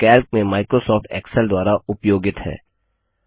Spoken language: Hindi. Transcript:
जो कैल्क में माइक्रोसॉफ्ट एक्सेल द्वारा उपयोगित हैं